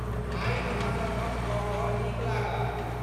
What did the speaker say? आइ अहाँसँ गप कऽ कऽ नीक लागल।